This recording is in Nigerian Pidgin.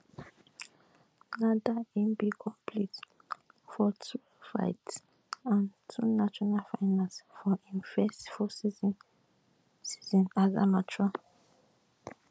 na dia e bin compete for twelve fights and two national finals for im first full season season as amateur